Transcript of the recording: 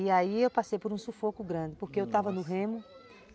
E aí eu passei por um sufoco grande, porque eu estava no remo.